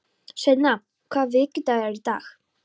Sveina, hvaða vikudagur er í dag?